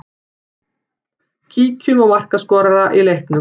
Kíkjum á markaskorara í leiknum.